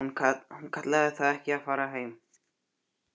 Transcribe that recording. Hún kallaði það ekki að fara heim.